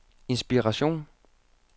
inspiration